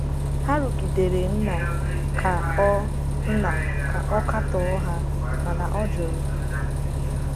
Ha rụgidere Nna ka ọ Nna ka ọ katọọ ha, mana ọ jụrụ.